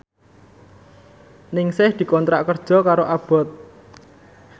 Ningsih dikontrak kerja karo Abboth